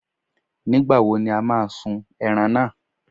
Nígbàwo ni o má a sun ẹran náà?